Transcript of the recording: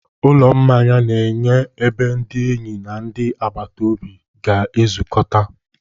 Ụlọ mmanya na-enye ebe ndị enyi na ndị agbata obi ga-ezukọta.